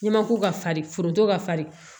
N'i ma ko ka farin foronto ka farin